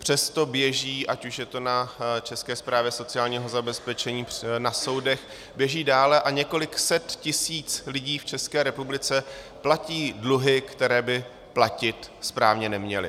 Přesto běží, ať už je to na České správě sociálního zabezpečení, na soudech, běží dále a několik set tisíc lidí v České republice platí dluhy, které by platit správně neměli.